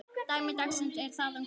Dæmi dagsins er þaðan komið.